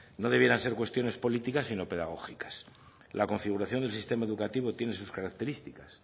no debieran ser cuestiones políticas sino pedagógicas la configuración del sistema educativo tiene sus características